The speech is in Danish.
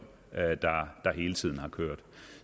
der hele tiden har kørt